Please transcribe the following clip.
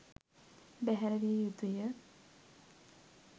බැහැර විය යුතු ය.